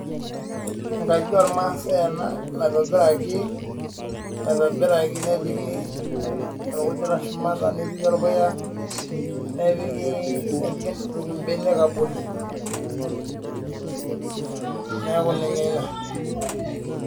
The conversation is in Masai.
Enkaji ormaasai ena naitobiraki nepiki orkujita shumata nepiki orpuya nepiki mpenek abori neeku ninye ina